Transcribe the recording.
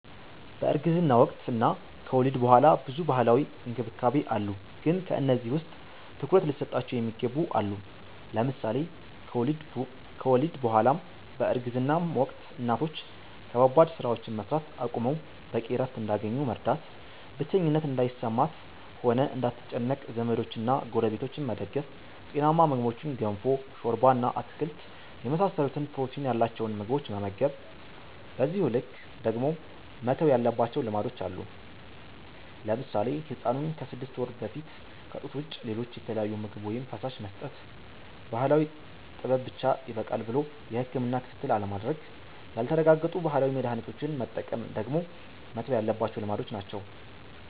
በእርግዝና ወቅት እና ከወሊድ ቡኃላ ብዙ ባህላዊ እንክብካቤ አሉ ግን ከነዚህ ውስጥ ትኩረት ሊሰጣቸው የሚገቡ አሉ። ለምሳሌ ከወሊድ ቡ በኃላም በእርግዝናም ወቅት እናቶች ከባባድ ስራዎችን መስራት አቁመው በቂ እረፍት እንዲያገኙ መርዳት፣ ብቸኝነት እንዳይሰማት ሆነ እንዳትጨነቅ ዘመዶችና ጎረቤቶች መደገፍ፣ ጤናማ ምግቦችን ገንፎ፣ ሾርባ እና አትክልት የመሳሰሉትን ፕሮቲን ያላቸውን ምግቦች መመገብ። በዚሁ ልክ ደግሞ መተው ያለባቸው ልማዶች አሉ። ለምሳሌ ህፃኑን ከስድስት ወር በፊት ከጡት ውጭ ሌሎች የተለያዩ ምግብ ወይም ፈሳሽ መስጠት፣ ባህላዊ ጥበብ ብቻ ይበቃል ብሎ የህክምና ክትትል አለማድረግ፣ ያልተረጋገጡ ባህላዊ መድሀኒቶችን መጠቀም ደግሞ መተው ያለባቸው ልማዶች ናቸው።